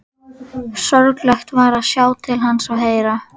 Sorglegt var að sjá til hans og heyra.